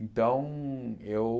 Então eu